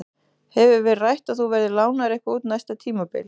Hefur verið rætt að þú verðir lánaður eitthvað út næsta tímabil?